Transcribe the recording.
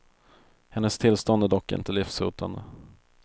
Hennes tillstånd är dock inte livshotande.